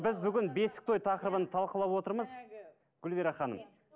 біз бүгін бесік той тақырыбын талқылап отырмыз гүлбира ханым